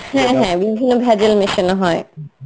হ্যাঁ হ্যাঁ বিভিন্ন ভেজাল মেশানো হয়.